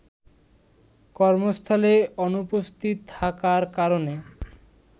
কর্মস্থলে অনুপস্থিত থাকার কারণে